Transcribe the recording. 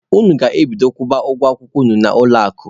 Unu ga-ebido kwụba ụgwọ akwụkwọ unu na ụlọ akụ!.